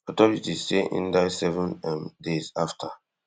authorities say in die seven um days afta